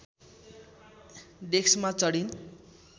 डेस्कमा चढिन्